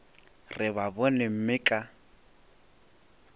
re ba bone mme ka